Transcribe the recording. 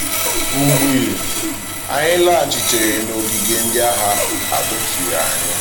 Mgbe um anyị laghachitere n’ogige ndị agha, a kpọchiri anyị.